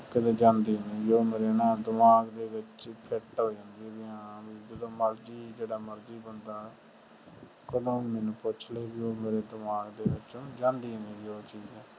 ਕੀਤੇ ਜਾਂਦੀ ਨੀ ਉਹ ਮੇਰੇ ਨਾ ਦਿਮਾਗ ਚ fit ਹੋ ਜਾਂਦੀ ਵੀ ਹਾਂ ਜਦੋ ਮਰਜੀ ਜਿਹੜਾ ਮਰਜੀ ਬੰਦਾ ਕਦੋ ਵੀ ਮੇਰੇ ਤੋਂ ਪੁੱਛ ਲਵੇ ਜਦੋ ਵੀ ਉਹ ਮੇਰੇ ਦਿਮਾਗ ਚੋ ਜਾਂਦੀ ਨਾਈ ਗਈ ਉਹ ਚੀਜ